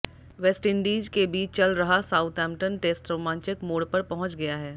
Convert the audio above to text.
West Indies के बीच चल रहा साउथैम्पटन टेस्ट रोमांचक मोड़ पर पहुंच गया है